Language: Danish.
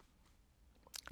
DR1